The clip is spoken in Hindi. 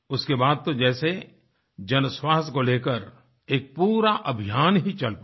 उसके बाद तो जैसे जनस्वास्थ्य को लेकर एक पूरा अभियान ही चल पड़ा